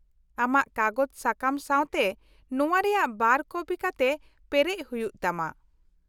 -ᱟᱢᱟᱜ ᱠᱟᱜᱚᱡᱽ ᱥᱟᱠᱟᱢ ᱥᱟᱶᱛᱮ ᱱᱚᱶᱟ ᱨᱮᱭᱟᱜ ᱵᱟᱨ ᱠᱚᱯᱤ ᱠᱟᱛᱮ ᱯᱮᱨᱮᱡ ᱦᱩᱭᱩᱜ ᱛᱟᱢᱟ ᱾